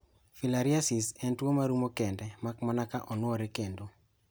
Filariasis en tuo marumo kende makmana kaonuore kendo.